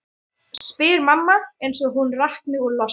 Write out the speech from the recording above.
spyr mamma eins og hún rakni úr losti.